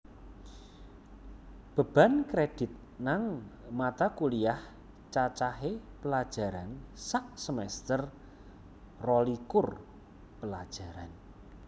Beban Kredit nang Mata Kuliah Cacahe pelajaran sasemester rolikur pelajaran